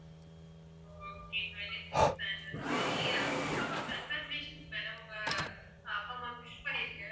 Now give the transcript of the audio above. okay twenty-sixth anniversary first of all congratulations madam உங்க அப்பா அம்மாக்கு wish பண்ணிடுங்க